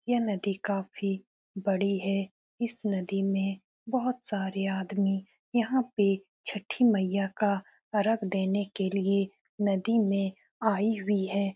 ये नदी काफी बड़ी है इस नदी में बहुत सारे आदमी यहां पे छठी मैया का अर्घ देने के लिए नदी में आई हुई है।